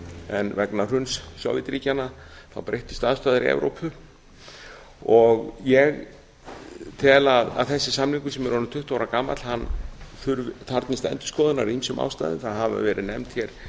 en vegna hruns sovétríkjanna breyttust aðstæður í evrópu ég tel að þessi samningur sem er orðinn tuttugu ára gamall þarfnist endurskoðunar af ýmsum ástæðum það hafa verið nefnd hér